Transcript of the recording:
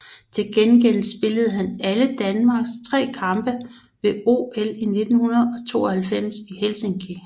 Til gengæld spillede han alle Danmarks tre kampe ved OL 1952 i Helsinki